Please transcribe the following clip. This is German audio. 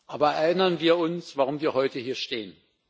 Aber erinnern wir uns, warum wir heute hier stehen.